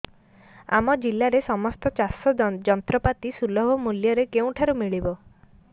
ଆମ ଜିଲ୍ଲାରେ ସମସ୍ତ ଚାଷ ଯନ୍ତ୍ରପାତି ସୁଲଭ ମୁଲ୍ଯରେ କେଉଁଠାରୁ ମିଳିବ